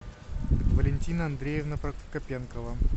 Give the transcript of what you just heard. валентина андреевна прокопенкова